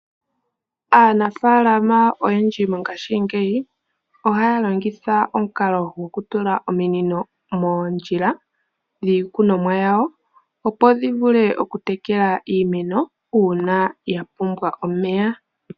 Aanafalama oyendji mongashingeyi ohaya longitha omukalo gokutula ominino moondjila dhiikunomwa yawo, opo dhi vule okutekela iimeno uuna ya pumbwa omeya.